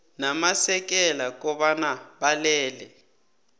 namasekela kobana balele